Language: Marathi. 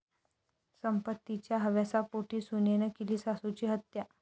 संपत्तीच्या हव्यासापोटी सुनेनं केली सासूची हत्या